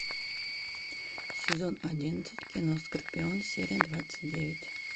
сезон одиннадцать кино скорпион серия двадцать девять